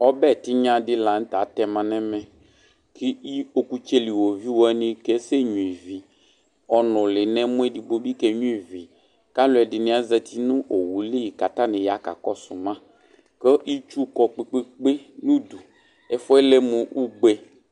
Ɔbɛ tinya di lanʋtɛ atɛma nʋ ɛmɛ kʋ ɔkʋtseli woviu asɛnyua ivi ɔnʋli nʋ ɛmɔ edigbo kenyua ivi kʋ alʋɛdini azati nʋ owʋ eli kʋ atani ya kakɔsʋ ma kʋ itsu kɔ kpe kpe kpe nʋ ʋdʋ kʋ ɛfʋɛ lɛmʋ ugbe